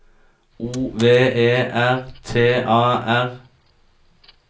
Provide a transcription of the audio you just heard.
O V E R T A R